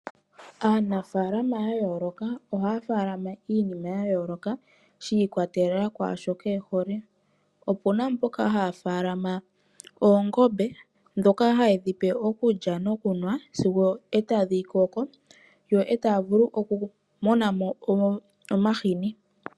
Aanafaalama ya yooloka ohaya munu iinima ya yooloka shi ikwatelela kwaashoka ehole. Opuna mboka haya munu oongombe ndhoka hayedhi pe okulya nokunwa sigo etadhi koko, yo etaya vulu oku monamo omahini.